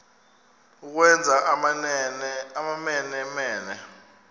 ukwenza amamene mene